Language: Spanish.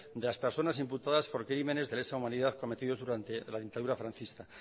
de las personas imputadas por crímenes de lesa humanidad cometidos durante la dictadura franquista